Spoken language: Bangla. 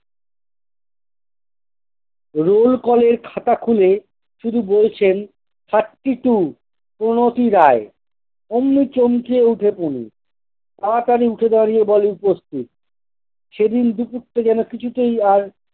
roll call এর খাতা খুলে শুধু বলছেন thirty two কুমতি রায়, ওমনে চমকে উঠে কুনি। তাড়াতাড়ি উঠে দাঁড়িয়ে বলে- উপস্থিত। সেদিন দুপুরটা যেন কিছুতেই আর